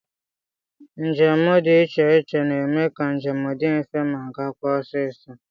Njemụgbọ dị iche iche na-eme ka njem dị mfe ma gaakwa ọsịịsọ